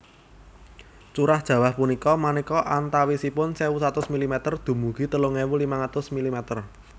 Curah jawah punika manéka antawisipun sewu satus milimeter dumugi telung ewu limang atus milimeter